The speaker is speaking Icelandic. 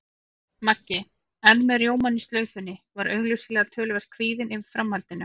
Maggi, enn með rjómann í slaufunni, var augsýnilega töluvert kvíðinn yfir framhaldinu.